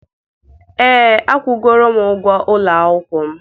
ee, akwụgoro m ụgwọ ụlọ akwụkwọ m.